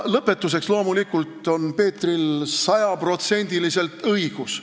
Lõpetuseks ütlen, et loomulikult on Peetril sada protsenti õigus.